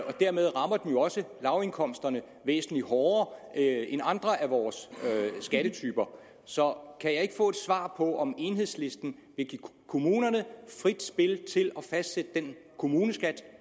og dermed rammer den jo også lavindkomsterne væsentlig hårdere end andre af vores skattetyper så kan jeg ikke få et svar på om enhedslisten vil give kommunerne frit spil til at fastsætte den kommuneskat